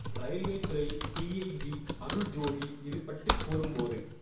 railway துறை DIG Arul Jothi இது பற்றி கூறும் போது